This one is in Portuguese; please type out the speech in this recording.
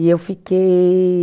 E eu fiquei